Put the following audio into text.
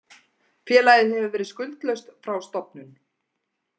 Félagið hefur verið skuldlaust frá stofnun